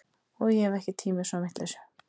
Og ég hef ekki tíma í svona vitleysu